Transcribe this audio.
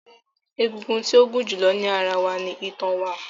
Egungun tí ó gún julọ ní ará wá ní itan wa